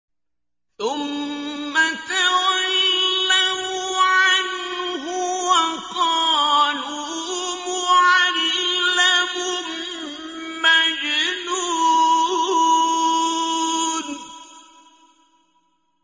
ثُمَّ تَوَلَّوْا عَنْهُ وَقَالُوا مُعَلَّمٌ مَّجْنُونٌ